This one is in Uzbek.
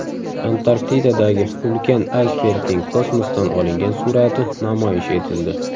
Antarktidadagi ulkan aysbergning kosmosdan olingan surati namoyish etildi.